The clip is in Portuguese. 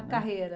A carreira.